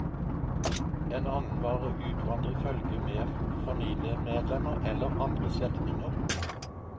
En annen var å utvandre i følge med familiemedlemmer eller andre slektninger.